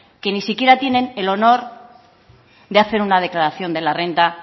que ni tan siquiera tienen el honor de hacer una declaración de la renta